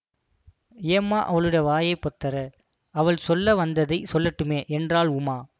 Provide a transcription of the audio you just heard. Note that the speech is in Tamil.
ஏம்மா அவளுடைய வாயைப் பொத்தறே அவள் சொல்ல வந்ததைச் சொல்லட்டுமே என்றாள் உமா